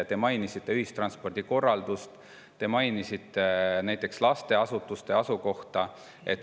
Te mainisite ühistranspordi korraldust, te mainisite lasteasutuste asukohta.